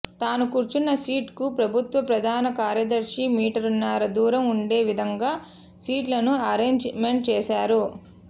తాను కూర్చున్న సీట్ కు ప్రభుత్వ ప్రధాన కార్యదర్శి మీటర్నర దూరం ఉండే విధంగా సీట్లను అరెంజ్ మెంట్ చేశారు